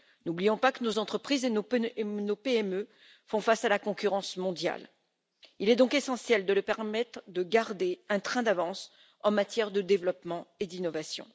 N'oublions pas que nos entreprises et nos PME font face à la concurrence mondiale, il est donc essentiel de leur permettre de garder un train d'avance en matière de développement et d'innovation.